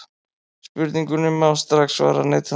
Spurningunni má strax svara neitandi.